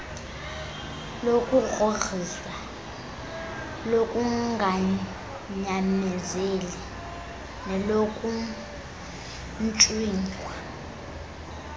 lokugrhogrhiswa lokunganyamezeli nelokuntswinywa